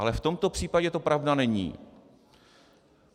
Ale v tomto případě to pravda není.